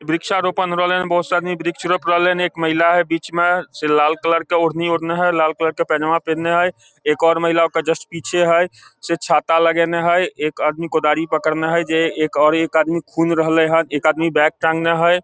वृक्षारोपण हो रहले ये बहुत से आदमी वृक्ष रोप रहले ये एक महिला हेय बीच मे से लाल कलर के ओढ़नी ओढ़ले हेय लाल कलर के पैजामा पिनहले हेय एक और महिला ओकर जस्ट पीछे हेय से छाता लगेएने हेय एक आदमी कोदारी पकड़ने हेय जे एक आदमी खुन्ह रहले हेय एक आदमी बैग पकड़ने हेय।